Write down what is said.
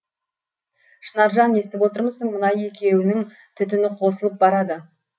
шынаржан естіп отырмысың мына екеуінің түтіні қосылып барады